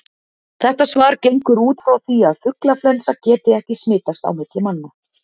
Þetta svar gengur út frá því að fuglaflensa geti ekki smitast á milli manna.